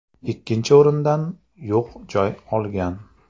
Ikkinchi o‘rindan yog‘ joy olgan.